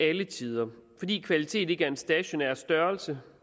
alle tider fordi kvalitet ikke er en stationær størrelse